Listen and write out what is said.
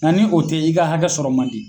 Nga ni o tɛ i ka hakɛ sɔrɔ man di.